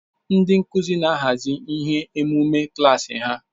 Ndị nkuzi na-ahazi ihe emume klaasi ha.